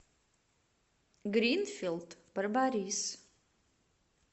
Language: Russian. гринфилд барбарис